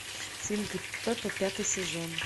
свинка пеппа пятый сезон